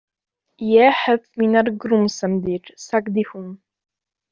Ég hef mínar grunsemdir, sagði hún.